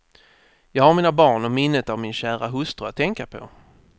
Jag har mina barn och minnet av min kära hustru att tänka på.